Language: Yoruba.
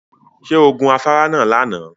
Ṣé o gun afárá náà lánàá?